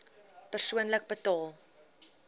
persoonlik betaal